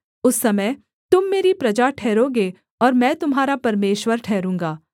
उस समय तुम मेरी प्रजा ठहरोगे और मैं तुम्हारा परमेश्वर ठहरूँगा